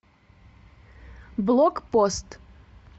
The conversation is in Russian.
блокпост